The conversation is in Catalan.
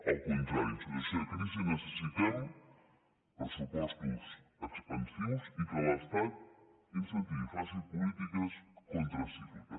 al contrari en situació de crisi necessitem pressupostos expansius i que l’estat incentivi faci polítiques contracícliques